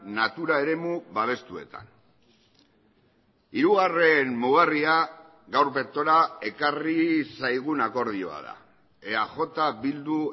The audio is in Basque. natura eremu babestuetan hirugarren mugarria gaur bertora ekarri zaigun akordioa da eaj bildu